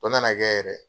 O nana kɛ yɛrɛ